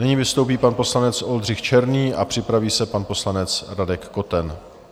Nyní vystoupí pan poslanec Oldřich Černý a připraví se pan poslanec Radek Koten.